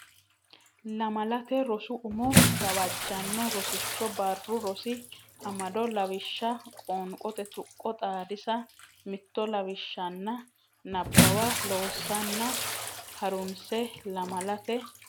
Lamalate Rosi Umo Gawajjanno Rosicho Barru Rosi Amado Lawishsha Qoonqote tuqqo xaadisa mitto lawishsha ani Nabbawa loosanna ha runse Lamalate.